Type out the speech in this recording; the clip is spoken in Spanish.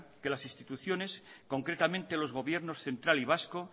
que las instituciones concretamente los gobiernos central y vasco